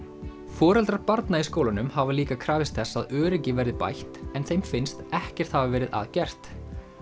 foreldrar barna í skólanum hafa líka krafist þess að öryggi verði bætt en þeim finnst ekkert hafa verið að gert